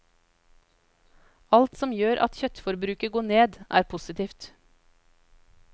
Alt som gjør at kjøttforbruket går ned, er positivt.